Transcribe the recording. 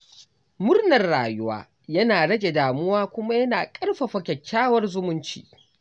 Murnar rayuwa yana rage damuwa kuma yana ƙarfafa kyakkyawar zumunci.